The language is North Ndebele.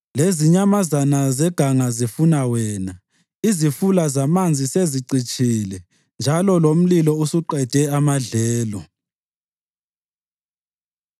Lezinyamazana zeganga zifuna wena; izifula zamanzi sezicitshile njalo lomlilo usuqede amadlelo.